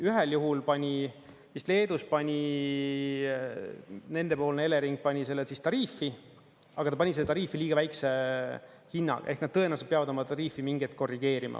Ühel juhul pani, vist Leedus pani nendepoolne Elering selle vist tariifi, aga ta pani tariifi liiga väikese hinna ehk nad tõenäoliselt peavad oma tariifi mingi hetk korrigeerima.